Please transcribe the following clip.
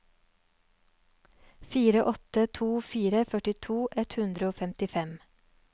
fire åtte to fire førtito ett hundre og femtifem